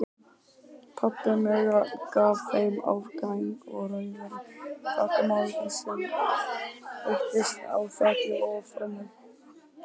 Pabbi Möggu gaf þeim afganginn af rauðri þakmálningu sem entist á þakið og framhliðina.